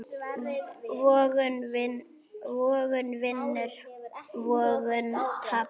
Vogun vinnur vogun tapar.